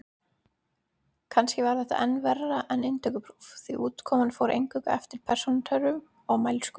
Kannski var þetta enn verra en inntökupróf, því útkoman fór eingöngu eftir persónutöfrum og mælsku.